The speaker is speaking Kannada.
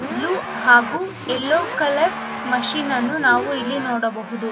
ಬ್ಲೂ ಹಾಗು ಎಲ್ಲೋ ಕಲರ್ ಮಷೀನ್ ಅನ್ನು ನಾವು ಇಲ್ಲಿ ನೋಡಬಹುದು.